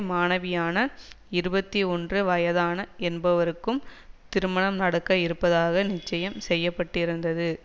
மாணவியான இருபத்தி ஒன்று வயதான என்பவருக்கும் திருமணம் நடக்க இருப்பதாக நிச்சயம் செய்ய பட்டிருந்தது